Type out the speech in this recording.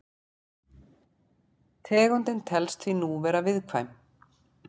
Tegundin telst því nú vera viðkvæm.